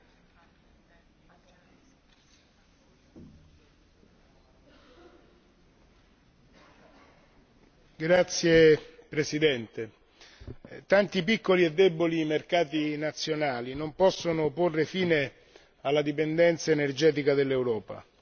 Signor Presidente, tanti piccoli e deboli mercati nazionali non possono porre fine alla dipendenza energetica dell'Europa.